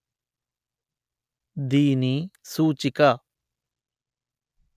దీని సూచిక